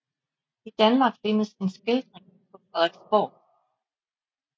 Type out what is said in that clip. I Danmark findes en skildring på Frederiksborg